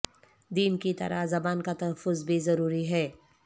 دین کی طرح زبان کا تحفظ بھی ضروری ہے